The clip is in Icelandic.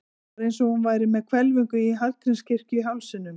Það var eins og hún væri með hvelfinguna í Hallgrímskirkju í hálsinum.